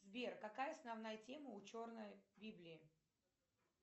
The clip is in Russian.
сбер какая основная тема ученой библии